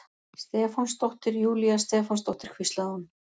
Stefánsdóttir, Júlía Stefánsdóttir, hvíslaði hún.